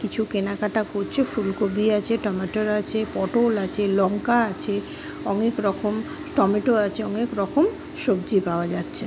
কিছু কেনাকাটা করছ ফুলকপি আছে টমেটোর আছে পটল আছে লঙ্কা আছে অনেক রকম টমেটো আছে অনেক রকম সবজি পাওয়া যাচ্ছে।